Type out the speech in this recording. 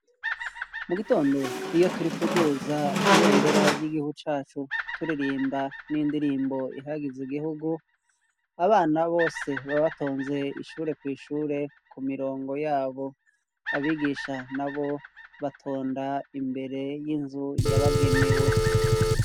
Mu gitondo iyo turi kuduza ibendera ry'igihugu cacu turirimba n'indirimbo ihagize igihugu, abana bose baba batonze ishure kw' ishure ku mirongo yabo. Abigisha nabo batonda imbere y'inzu yabagenewe.